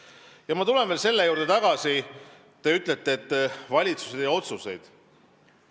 Ma tulen tagasi veel selle juurde, et te ütlesite, et valitsus ei tee otsuseid.